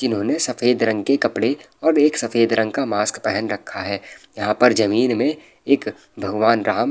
जिन्होंने सफ़ेद रंग के कपड़े और एक सफ़ेद रंग का मास्क पहन रखा है | यहाँ पर ज़मीन में एक भगवान राम --